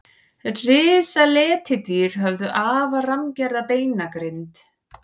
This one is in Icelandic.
risaletidýr höfðu afar rammgerða beinagrind